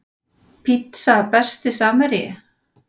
Pizza Besti samherji?